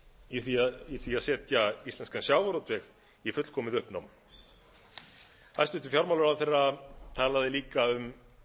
í því að setja íslenskan sjávarútveg í fullkomið uppnám hæstvirtur fjármálaráðherra talaði líka um